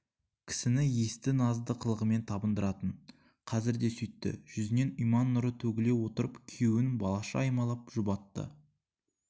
кісіні есті назды қылығымен табындыратын қазір де сөйтті жүзінен иман нұры төгіле отырып күйеуін балаша аймалап жұбатты